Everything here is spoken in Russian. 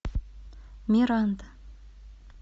миранда